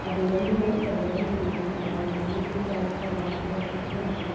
ಹಾ ಅದೇ ಎಲ್ರು ಹೇಳ್ತಾರೆ ಏನ್ ಅಂತ ಹೇಳಿದ್ರೆ ನಾವ್ ಮನೇಲಿ ಇದ್ದು outside hostel ಲಲ್ ಕುತ್ಕೊಂಡ್ವಿ